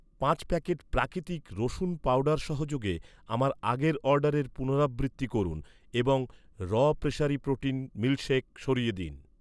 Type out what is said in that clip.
পাঁচ প্যাকেট প্রাকৃতিক রসুন পাউডার সহযোগে আমার আগের অর্ডারের পুনরাবৃত্তি করুন এবং র প্রেসারি প্রোটিন মিল্কশেক সরিয়ে দিন।